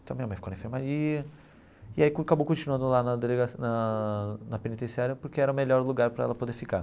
Então minha mãe ficou na enfermaria e aí acabou continuando lá na delega na na penitenciária porque era o melhor lugar para ela poder ficar.